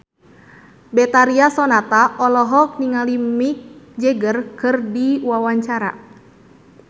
Betharia Sonata olohok ningali Mick Jagger keur diwawancara